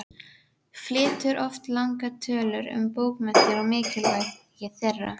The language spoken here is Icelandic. Flytur oft langar tölur um bókmenntir og mikilvægi þeirra.